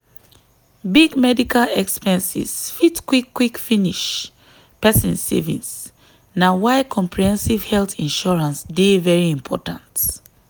big medical expenses fit quick quick finish person savings na why comprehensive health insurance dey very important.